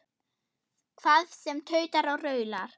Hvað sem tautar og raular.